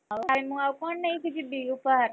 ଆଉ ଭାଇ ମୁଁ ଆଉ, କଣ ନେଇକି ଯିବି ଉପହାର?